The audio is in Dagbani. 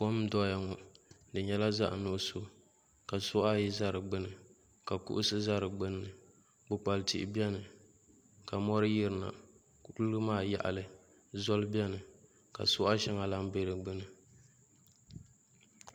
Kam n doya ŋɔdo nyɛla zaɣi nuɣiso ka suɣa ayi za di dgbunni ka kiɣusi za di gbunni kpukpali tihi bɛni ka mori yiri na kuliga maa taɣili zoli bɛni ka suɣa shɛŋa lan bɛ di gbuni.